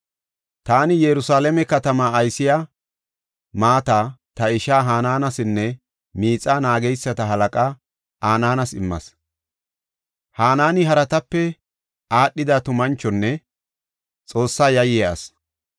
Taani Yerusalaame katamaa aysiya maata ta ishaa Hananesinne miixa naageysata halaqaa Anaanas immas. Hanaani haratape aadhida tumanchonne Xoosse yayiya asi.